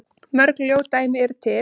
Mörg ljót dæmi eru til.